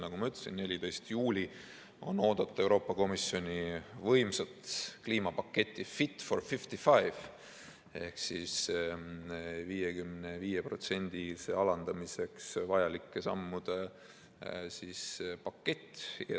Nagu ma ütlesin, 14. juulil on oodata Euroopa Komisjoni võimsat kliimapaketti "Fit for 55" ehk 55%-ni alandamiseks vajalike sammude paketti.